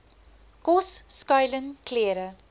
kos skuiling klere